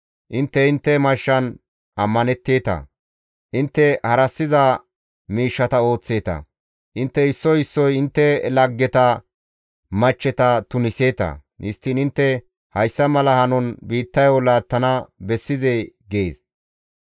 Intte intte mashshan ammanetteeta; intte harassiza miishshata ooththeeta; intte issoy issoy intte laggeta machcheta tuniseeta. Histtiin intte hayssa mala hanon biittayo laattana bessizee? gees.